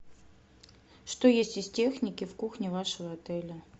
что есть из техники в кухне вашего отеля